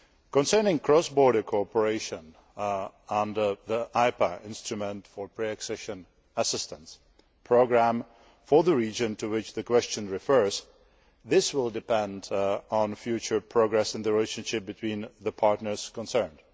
Concerning cross border cooperation, under the IPA instrument for the pre accession assistance programme for the region to which the question refers, this will depend on future progress in the relationship between the partners concerned.